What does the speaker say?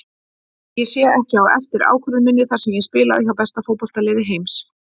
Ég sé ekki á eftir ákvörðun minni þar sem ég spilaði hjá besta fótboltaliði heims.